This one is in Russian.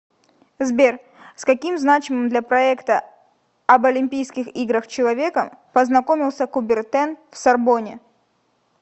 сбер с каким значимым для проекта об олимпискийх играх человеком познакомился кубертен в сорбонне